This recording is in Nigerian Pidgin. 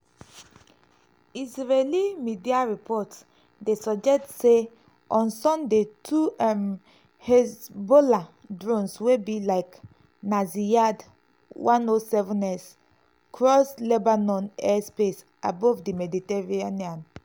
israeli media reports dey suggest say on sunday two um haezbollah drones wey be like na ziyad 107s cross lebanon air space above di mediterranean.